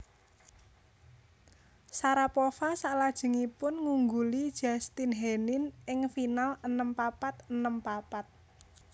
Sharapova salajengipun ngungguli Justine Henin ing final enem papat enem papat